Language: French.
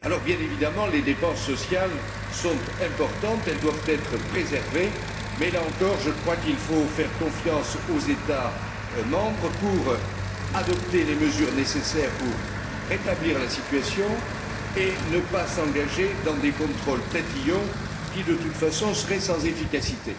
Bien évidemment, les dépenses sociales sont importantes, elles doivent être préservées mais, là encore, il faut faire confiance aux États membres pour adopter les mesures nécessaires pour rétablir la situation et ne pas s'engager dans des contrôles tatillons qui, de toute façon, seraient sans efficacité.